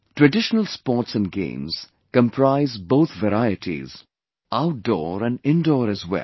Traditional sports and games comprise both varieties... outdoor and indoor as well